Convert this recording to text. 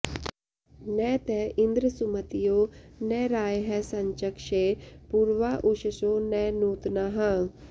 न त इन्द्र सुमतयो न रायः संचक्षे पूर्वा उषसो न नूत्नाः